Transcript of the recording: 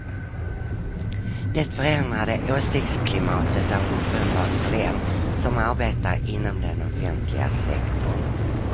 Det förändrade åsiktsklimatet är uppenbart för den som arbetar inom den offentliga sektorn.